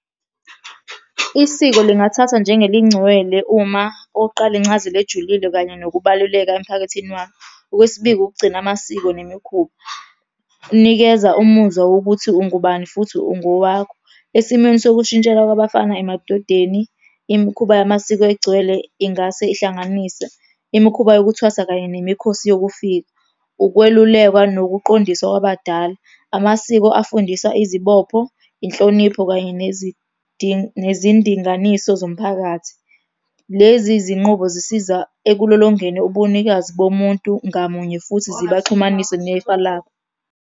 Isiko lingamthathwa njengelingcwele uma, okok'qala, incazelo ejulile kanye nokubaluleka emphakathini wakho. Okwesibili, ukugcina amasiko nemikhuba. Nikeza umuzwa wokuthi ungubani futhi . Esimweni sokushintshela kwabafana emadodeni, imikhuba yamasiko egcwele ingase ihlanganise imikhuba yokuthwasa kanye nemikhosi yokufika, ukwelulekwa nokuqondisa kwabadala. Amasiko afundisa izibopho, inhlonipho kanye nezindinganiso zomphakathi. Lezi zinqubo zisiza ekulolongeni ubunikazi bomuntu ngamunye futhi zibaxhumanise nefa labo.